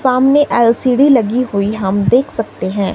सामने एल_सी_डी लगी हुई हम देख सकते हैं।